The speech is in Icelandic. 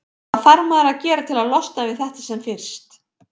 Hvað þarf maður að gera til að losna við þetta sem fyrst?